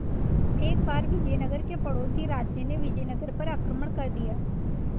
एक बार विजयनगर के पड़ोसी राज्य ने विजयनगर पर आक्रमण कर दिया